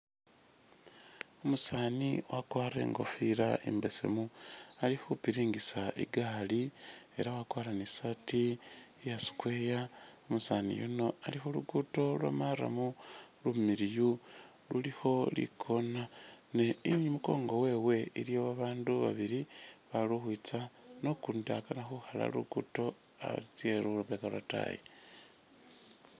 Umusani wakwarile ikofila imbesemu alikhupiringisa igaali elah wakwara ni saati iyaa square, umusani yuuno Ali khulugudo lwa'murram, lumiliyu lulikho li'corner, ne imunkonko wewe iliyo bandu babili balikhukhwitsa nokundi akanakhukhala luguddo atsye lubega lwataayi